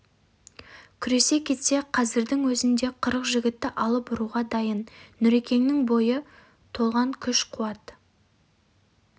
күресе кетсе қазірдің өзінде қырық жігітті алып ұруға дайын нүрекеңнің бойы толған күш-қуат